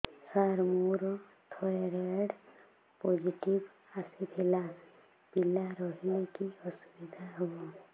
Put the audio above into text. ସାର ମୋର thyroid positive ଆସିଥିଲା ପିଲା ରହିଲେ କି ଅସୁବିଧା ହେବ